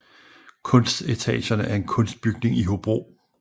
Kunstetagerne er en kunstbygning i Hobro